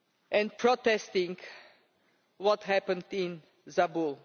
life and protesting about what happened in Zabul.